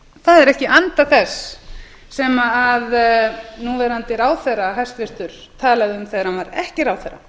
það er ekki í anda þess sem núverandi ráðherra hæstvirtur talaði um þegar hann var ekki ráðherra